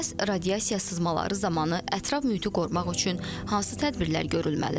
Bəs radiasiya sızmaları zamanı ətraf mühiti qorumaq üçün hansı tədbirlər görülməlidir?